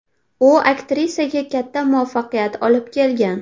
U aktrisaga katta muvaffaqiyat olib kelgan.